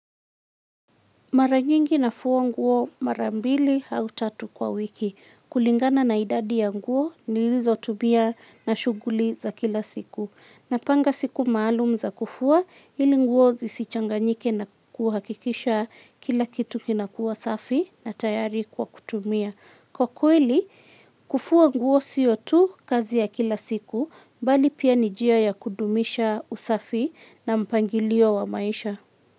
Mara nyingi nafua nguo mara mbili au tatu kwa wiki. Kulingana na idadi ya nguo nilizotumia na shughuli za kila siku. Napanga siku maalum za kufua ili nguo zisichanganyike na kuhakikisha kila kitu kinakuwa safi na tayari kwa kutumia. Kwa kweli, kufua nguo sio tu kazi ya kila siku, bali pia ni njia ya kudumisha usafi na mpangilio wa maisha.